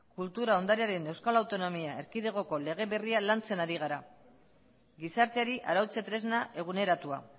kultura ondarearen euskal autonomia erkidegoko lege berria lantzen ari gara gizarteari arautze tresna eguneratua